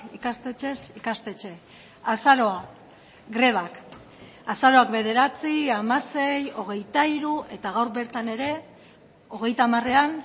ikastetxez ikastetxe azaroa grebak azaroak bederatzi hamasei hogeita hiru eta gaur bertan ere hogeita hamarean